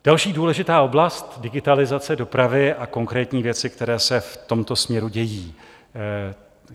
Další důležitá oblast - digitalizace dopravy a konkrétní věci, které se v tomto směru dějí.